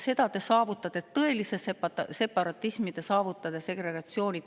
Selle te saavutate: tõelise separatismi ja segregatsiooni.